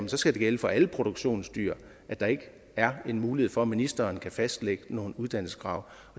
det skal gælde for alle produktionsdyr at der ikke er mulighed for at ministeren kan fastlægge nogle uddannelseskrav